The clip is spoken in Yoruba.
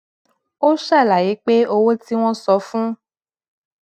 ó ṣàlàyé pé owó tí wón san fún